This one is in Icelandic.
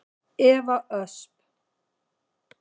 Eva Ösp.